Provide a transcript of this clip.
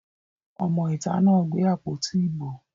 Ọmọ ìta náà gbé àpótí ìbò